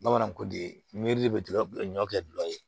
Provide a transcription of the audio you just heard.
Bamananw ko de miri bɛ tigɛ ɲɔ kɛ gulɔ ye